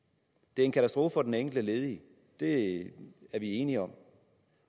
det er en katastrofe for den enkelte ledige det er vi enige om